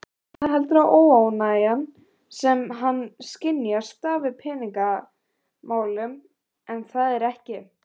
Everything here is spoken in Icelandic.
Binni heldur að óánægjan sem hann skynjar stafi af peningamálunum en það er ekki.